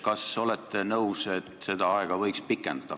Kas te olete nõus, et seda aega võiks pikendada?